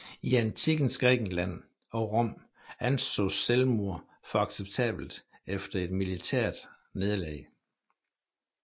I antikkens Grækenland og Rom ansås selvmord for acceptabelt efter et militært nederlag